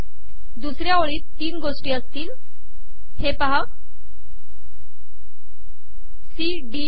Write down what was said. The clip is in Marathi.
दुसऱया ओळीत तीन गोषी असतील हे पहा सी डी ई